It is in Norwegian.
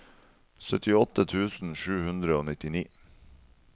syttiåtte tusen sju hundre og nittini